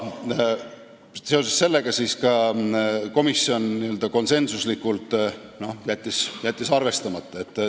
Seoses sellega, et selline lubadus anti, jättis komisjon konsensuslikult ettepaneku arvestamata.